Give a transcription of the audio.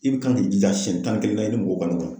I bi kan k'i jija siɲɛ tan ni kelen na i ni mɔgɔw